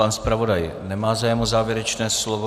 Pan zpravodaj nemá zájem o závěrečné slovo.